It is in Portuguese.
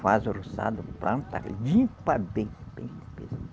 Faz o roçado, planta e limpa bem. Bem